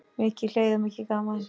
Mikið hlegið og mikið gaman.